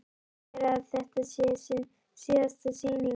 Segir að þetta sé sín síðasta sýning.